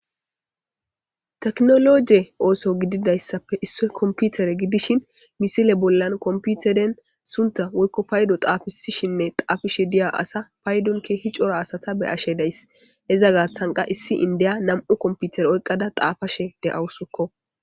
Teknoloje ooso gididaysappe issoy kompitere gidishin misile bollan kompiteren suntta woykko paydo xafisishinne xaafishe diya asa paydon keehi cora asata be'ashe days; iza gaaththan qa issi indiya nam'u kompitere oykada xaafashe de'awusuko.